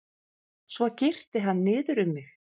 Svo girti hann niður um mig.